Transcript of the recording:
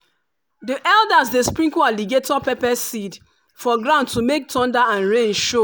the elders dey sprinkle alligator pepper seed for ground to make thunder and rain show.